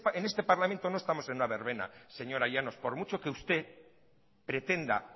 en este parlamento no estamos en una verbena señora llanos por mucho que usted pretenda